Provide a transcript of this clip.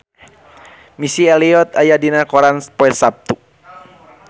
Missy Elliott aya dina koran poe Saptu